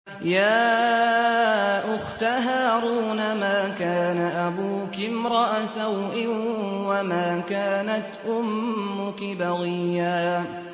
يَا أُخْتَ هَارُونَ مَا كَانَ أَبُوكِ امْرَأَ سَوْءٍ وَمَا كَانَتْ أُمُّكِ بَغِيًّا